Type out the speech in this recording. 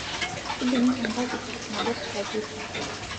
tudumu epankit nabo esupageti